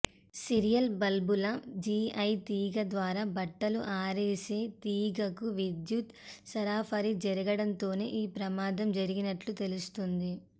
serial బల్బుల GI తీగ ద్వారా బట్టలు ఆరేసే తీగకు విద్యుత్ సరఫరా జరగడంతోనే ఈ ప్రమాదం జరిగినట్లు తెలుస్తోంది